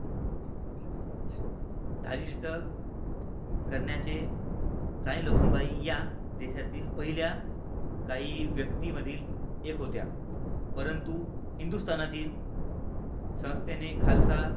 धारिष्ट करण्याचे राणी लक्ष्मीबाई या देशातील पहिल्या काही व्यक्तीमधील एक होत्या, परंतु हिंदुस्थानातील संस्थेने खालचा